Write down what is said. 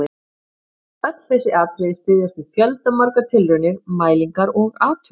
Öll þessi atriði styðjast við fjöldamargar tilraunir, mælingar og athuganir.